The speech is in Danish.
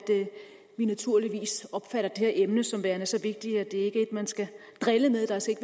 vi naturligvis opfatter det her emne som værende så vigtigt at det ikke er et man skal drille med der skal